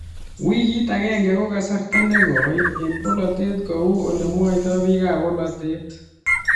Wikit agenge ko kasarta nekoi eng bolotet kou olemwoitoi bik ab bolotet